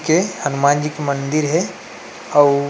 के हनुमान जी के मंदिर हे अउ--